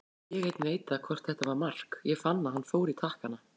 Ég einn veit það hvort þetta var mark, ég fann að hann fór í takkana.